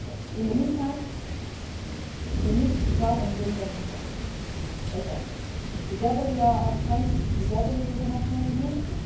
In the meantime, we need to try to bring them together again, together with Arab friends and together with the international community.